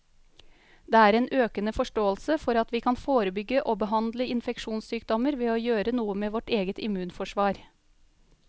Det er en økende forståelse for at vi kan forebygge og behandle infeksjonssykdommer ved å gjøre noe med vårt eget immunforsvar.